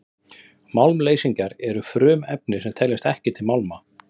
málmleysingjar eru frumefni sem teljast ekki til málma